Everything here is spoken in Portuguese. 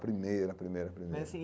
Primeira, primeira, primeira.